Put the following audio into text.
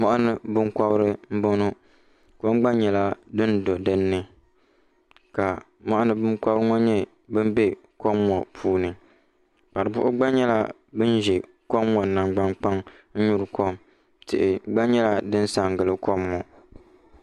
Mɔɣini binkɔbiri n bɔŋɔ kom gba nyɛla din do dinni ka mɔɣini binkɔbiri ŋɔ nyɛ bini bɛ kom ŋɔ puuni kparibuhi gba nyɛla ban zɛ kom ŋɔ nangbani kpaŋa n nyuri kom tihi gba nyɛla din sa n gili kom maa.